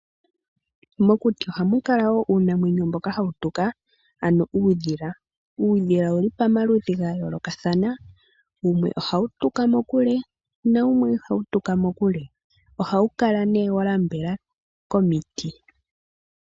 Mokuti ohamu kala wo muna uunamwenyo mboka hawu tuka ano uudhila. Uudhila owuli pamaludhi gayoolokathana wumwe ohawu tuka mokule nawumwe ihawu tuka mokule. Ohawu kala nee wanambela komiti.